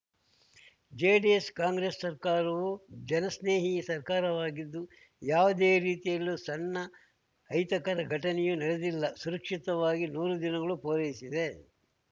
JDS Congress ಸರ್ಕಾರವು ಜನಸ್ನೇಹಿ ಸರ್ಕಾರವಾಗಿದ್ದು ಯಾವುದೇ ರೀತಿಯಲ್ಲಿಯೂ ಸಣ್ಣ ಅಹಿತಕರ ಘಟನೆಯೂ ನಡೆದಿಲ್ಲ ಸುರಕ್ಷಿತವಾಗಿ ನೂರು ದಿನಗಳು ಪೂರೈಸಿದೆ